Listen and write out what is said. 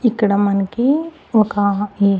ఇక్కడ మనకి ఒక ఇ--